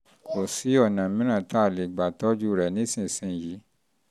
kò sí ọ̀nà mìíràn tá a lè gbà tọ́jú rẹ̀ nísinsìnyí